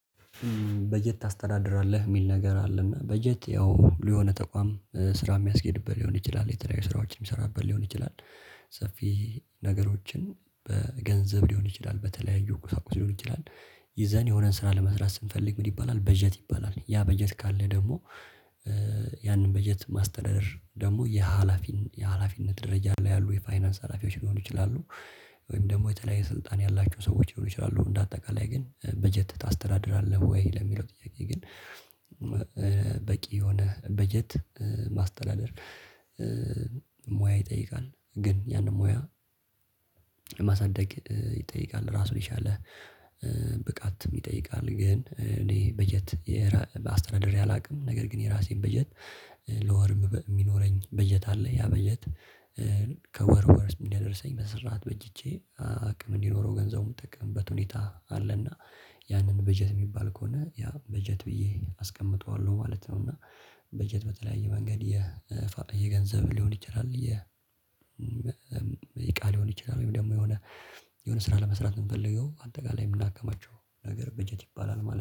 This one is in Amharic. በጀት ታስተዳድራለህ የሚል ነገር አለና በጀት ያው የሆነ ተቋም ስራ የሚያስኬድበት ሊሆን ይችላል የተለያዩ ስራዎችን የሚሰራበት ሊሆን ይችላል። ሰፊ ነገሮችን በገንዘብ ሊሆን ይችላል በተለያዩ ቁሳቁስ ሊሆን ይችላል። ይዘን የሆነን ስራ ለመስራት ስንፈልግ ምን ይባላል? በጀት ይባላል ያ በጀት ካለ ደግሞ በጀት ማስተዳደር ደግሞ የሀላፊን የሀላፊነት ደረጃ ላይ ያሉ የፋይናንስ ሀላፊዎች ሊሆኑ ይችላሉ። ወይም ደግሞ የተለያየ ስልጣን ያላችሁ ሰዎች ሊሆኑ ይችላሉ። እንደ አጠቃላይ ግን በጀት ታስተዳድራለህ ወይ ለሚለው ጥያቄ ግን? በቂ የሆነ በጀት ማስተላለፍ ይጠይቃል ግን ያንን ሙያ ማሳደግ ይጠይቃል ራሱ የቻለ ብቃትም ይጠይቃል። ግን እኔ በጀት አስተዳደሪ አላውቅም። ነገር ግን የራሴን በጀት ለወርም የሚኖረኝ በጀት አለ። ያ በጀት ከወር ወር ስም እንደደረሰኝ በስራት በጅቼ አቅም እንዲኖረው ገንዘቡን የምጠቀምበት ሁኔታ አለና። ያንን በጀት የሚባል ከሆነ ያ በጀት ብዬ አስቀምጠዋለሁ ማለት ነው። እና በጀት በተለያየ መንገድ የ የገንዘብ ሊሆን ይችላል። የእቃ ሊሆን ይችላል ወይም ደግሞ የሆነ የሆነ ስራ ለመስራት የምፈልገው አንተ ጋር ላይ የምናከማቸው ነገር በጀት ይባላል ማለት ነው